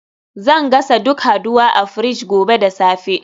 Zan gasa duk haduwa a fridge gobe da safe